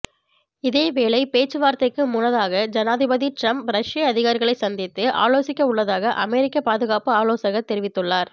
இதேவேளை பேச்சுவார்த்தைக்கு முனனதாக ஜனாதிபதி டிரம்ப் ரஷ்ய அதிகாரிகளை சந்தித்து ஆலோசிக்கவுள்ளதாக அமெரிக்க பாதுகாப்பு ஆலோசகர் தெரிவித்துள்ளார்